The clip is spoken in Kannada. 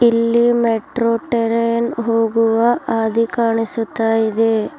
ಇಲ್ಲಿ ಮೆಟ್ರೋ ಟೆರನ್ ಹೋಗುವ ಹಾದಿ ಕಾಣಿಸುತ್ತಾ ಇದೆ.